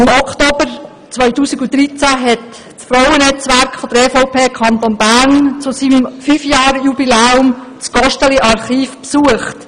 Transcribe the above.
Im Oktober 2013 hat das Frauennetzwerk der EVP Kanton Bern zu seinem 5-Jahres-Jubiläum das Gosteli-Archiv besucht.